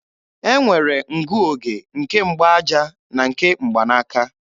E nwere ngụoge nke mgbaaja na nke mgbanaaka